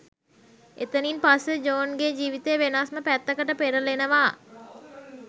එතනින් පස්සෙ ජෝන්ගෙ ජීවිතේ වෙනස්ම පැත්තකට පෙරලෙනවා